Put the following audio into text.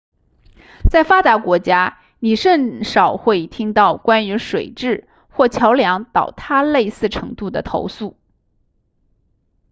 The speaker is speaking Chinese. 在发达国家你甚少会听到关于水质或桥梁倒塌类似程度的投诉